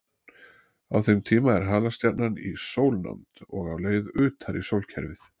Á þeim tíma er halastjarnan í sólnánd og á leið utar í sólkerfið.